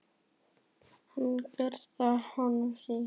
Hann gat gert það sem honum sýndist.